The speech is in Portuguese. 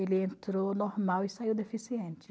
Ele entrou normal e saiu deficiente.